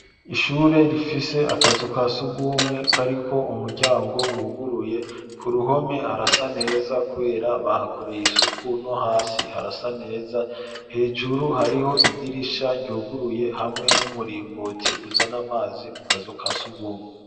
Ishure rifise akazu ka surwumwe kariko umuryango wuhuguruye. Ku ruhome harasa neza kubera bahakoreye isuku, no hasi harasa neza. Hejuru hariho idirisha ryuguruye hamwe n'umuringoti uzana amazi mu kazu kasurwumwe.